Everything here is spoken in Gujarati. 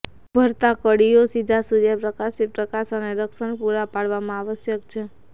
ઉભરતા કળીઓ સીધા સૂર્યપ્રકાશથી પ્રકાશ અને રક્ષણ પૂરા પાડવામાં આવશ્યક છે